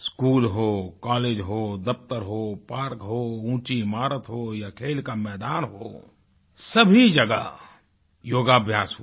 school हो college हो दफ्तर हो पार्क हो ऊँची ईमारत हो या खेल का मैदान हो सभी जगह योगाभ्यास हुआ